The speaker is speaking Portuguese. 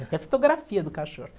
Até fotografia do cachorro.